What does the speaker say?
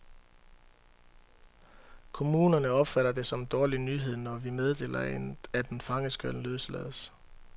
Kommunerne opfatter det som en dårlig nyhed, når vi meddeler, at en fange skal løslades.